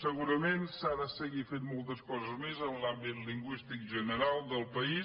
segurament s’ha de seguir fent moltes coses més en l’àmbit lingüístic general del país